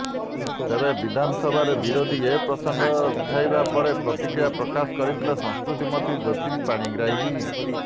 ତେବେ ବିଧାନସଭାରେ ବିରୋଧୀ ଏ ପ୍ରସଙ୍ଗ ଉଠାଇବା ପରେ ପ୍ରତିକ୍ରିୟା ପ୍ରକାଶ କରିଥିଲେ ସଂସ୍କୃତି ମନ୍ତ୍ରୀ ଜ୍ୟୋତି ପାଣିଗ୍ରାହୀ